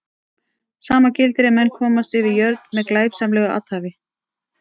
Sama gildir ef menn komast yfir jörð með glæpsamlegu athæfi.